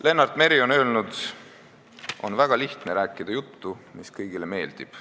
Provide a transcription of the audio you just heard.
Lennart Meri on öelnud: "On väga lihtne rääkida juttu, mis kõigile meeldib.